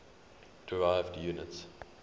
derived units